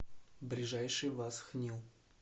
ближайший васхнил